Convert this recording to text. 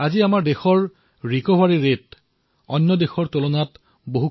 আজি আমাৰ দেশত আৰোগ্যৰ হাৰ অন্য দেশৰ তুলনাত অধিক